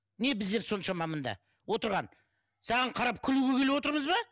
не біздер соншама мында отырған саған қарап күлуге келіп отырмыз ба